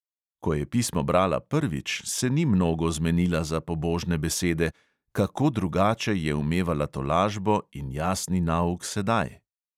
Ko je pismo brala prvič, se ni mnogo zmenila za pobožne besede: kako drugače je umevala tolažbo in jasni nauk sedaj!